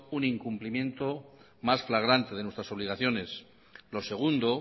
un incumplimiento más flagrante de nuestras obligaciones lo segundo